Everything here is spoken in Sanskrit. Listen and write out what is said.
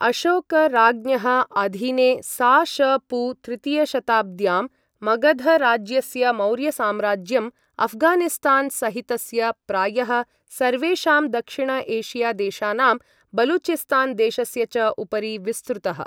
अशोक राज्ञः अधीने सा. श. पू. तृतीयशताब्द्याम्, मगध राज्यस्य मौर्यसाम्राज्यम्, अफ्गानिस्तान् सहितस्य प्रायः सर्वेषां दक्षिण एशिया देशानां, बलूचिस्तान् देशस्य च उपरि विस्तृतः।